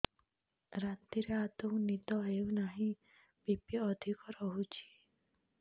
ରାତିରେ ଆଦୌ ନିଦ ହେଉ ନାହିଁ ବି.ପି ଅଧିକ ରହୁଛି